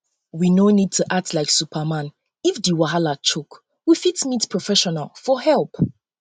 we no need to act like superman if um di wahala choke we um fit meet professional for help